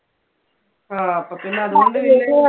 ആ അപ്പൊ പിന്നെ അതുകൊണ്ട്